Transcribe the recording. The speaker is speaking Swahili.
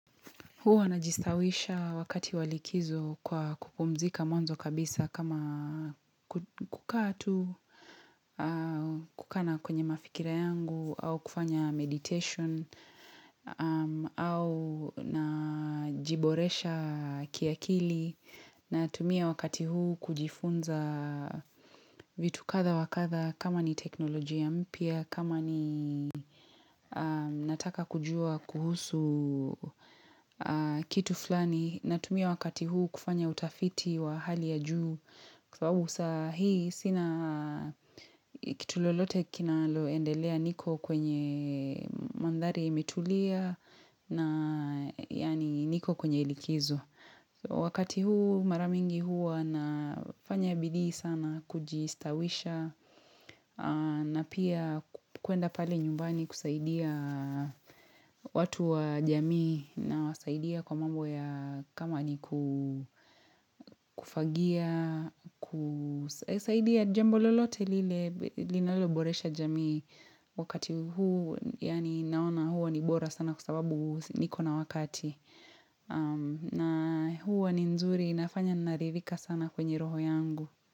Huwa najistawisha wakati wa likizo kwa kupumzika mwanzo kabisa kama kukaa tu au kukaa kwenye mafikira yangu, au kufanya meditation, au najiboresha kiakili. Nayatumia wakati huu kujifunza vitu kadha wa kadha kama ni teknolojia mpya, kama ni nataka kujua kuhusu kitu flani natumia wakati huu kufanya utafiti wa hali ya juu kwa sababu saa hii sina kitu lolote kinaloendelea niko kwenye mandhari imetulia yani niko kwenye likizo Wakati huu marabmingi hua nafanya bidii sana kujistawisha na pia kuenda pale nyumbani kusaidia watu wa jamii nawasaidia kwa mambo ya kama ni kufagia, kusaidia jambo lolote lile, linaloboresha jamii wakati huu, yani naona huwa ni bora sana kwa sababu niko na wakati. Na huwa ni nzuri nafanya ninaridhika sana kwenye roho yangu.